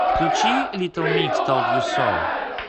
включи литл микс толд ю соу